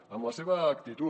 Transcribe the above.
amb la seva actitud